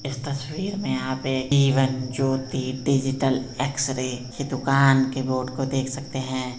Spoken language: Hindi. इस तस्वीर में आप एक इवन ज्योति डिजिटल एक्सरे की दुकान के बोर्ड को देख सकते हैं |